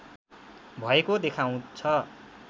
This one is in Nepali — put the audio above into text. भएको देखाउँछ